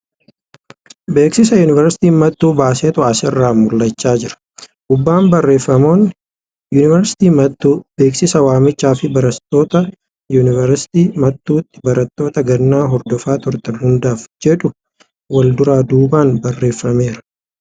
Beeksisa yuunivarsiitiin mattuu baasetu as irraa mul'achaa jira. Gubbaan barreeffamoonni ' Yuunivarsiitii Mattuu , Beeksisaa waamichaa fi Barattoota Yuunivarsiitii Mattuutti barnoota gannaan hordofaa turtan hundaaf ' jedhu wal duraa duubaan barreeffameera.